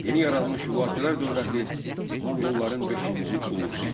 Yeni yaranmış Hülakülər dövləti monqolların beşinci ulusu idi.